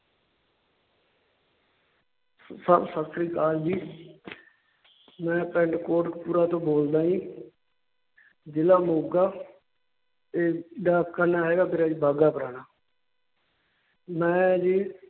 Sir ਸਤਿ ਸ੍ਰੀ ਅਕਾਲ ਜੀ ਮੈਂ ਪਿੰਡ ਕੋਟਕਪੁਰਾ ਤੋਂ ਬੋਲਦਾ ਜੀ ਜ਼ਿਲ੍ਹਾ ਮੋਗਾ ਤੇ ਡਾਕਖਾਨਾ ਹੈਗਾ ਮੇਰਾ ਜੀ ਬਾਘਾ ਪੁਰਾਣਾ ਮੈਂ ਜੀ